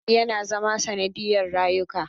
Haɗari yana zama sanadiyar rayuka.